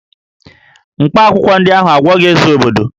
Mkpaakwụkwọ ndị ahụ agwọghị Eze obodo